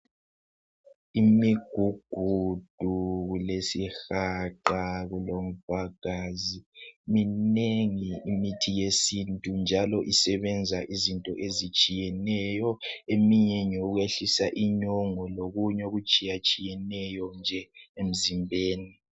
Imigugudu lesihaqa kulomvagazi minengi imithi yesintu njalo yenza izinto ezitshiyeneyo eminye yehlisa inyongo lokunye okutshiyatshiyeneyo nje emzimbeni.